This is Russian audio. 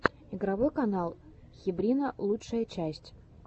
игровой канал хебрина лучшая часть